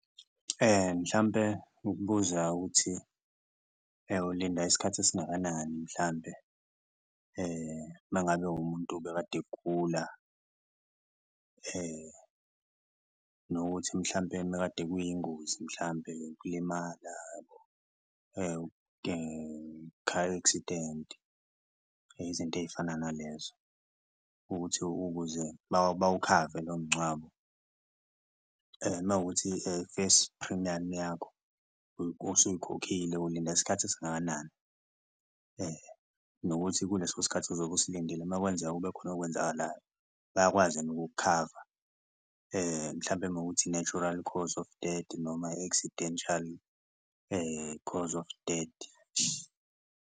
Mhlampe ukubuza ukuthi ulinda isikhathi esingakanani mhlambe uma ngabe umuntu obekade egula? Nokuthi mhlampe mekade kuyingozi mhlampe yokulima uyabo, car accident izinto ey'fana nalezo ukuthi ukuze bawukhave lowo mngcwabo, uma kuwukuthi first premium yakho osuyikhokhile ulinda isikhathi esingakanani? Nokuthi kuleso sikhathi uzobe usilindile uma kwenzeka kube khona okwenzakalayo bayakwazi yini ukukukhava? Mhlawumbe mawukuthi, i-natural cause of death noma i-accidental cause of dead.